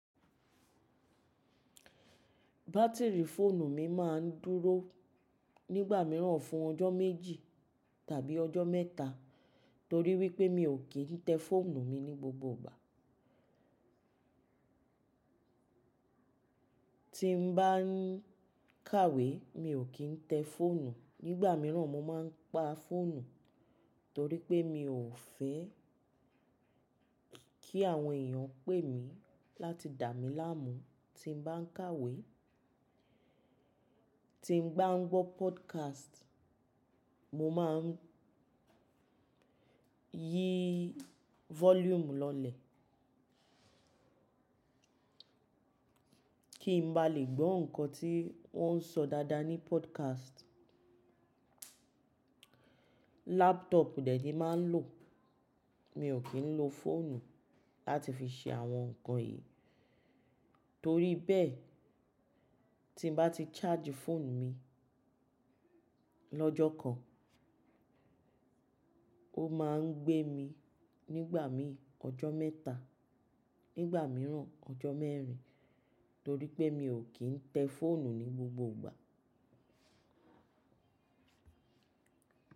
Bátìrì fóònù mi máà ń dúró nígbà mìíràn fún ọjọ́ méjì tàbí ọjọ́ mẹ́ta torí wípé mi ò kì ń tẹ fóònù mi ní gbogbo ìgbà. Tí n bá ń kàwé mi ò kí ń tẹ fóònù, nígbà míràn mo máa ń pa fóònù torí pé mi ò fẹ́ kí àwọn èèyàn pè mí láti dà mí láàmú tí n bá ń kàwé. Tí n bá ń gbọ́ podcast, mo máa ń yí volume lọlẹ̀ kí n bá lè gbọ́ nǹkan tí wọ́n ń sọ dáadáa ní podcast. Laptop dẹ̀ ní máa ń lò. Mi ò kí ń lo fóònù láti fi ṣe àwọn nǹkan yìí. Torí bẹ́ẹ̀, tí n bá ti charge fóònù mi lọ́jọ́ kan, ó máa ń gbé mi nígbà mí ọjọ́ mẹ́ta, nígbà mìíràn ọjọ́ mẹ́rin torí pé mi ò kí ń tẹ fóònù ní gbogbo ìgbà.